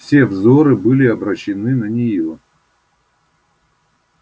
все взоры были обращены на нее